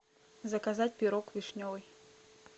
заказать пирог вишневый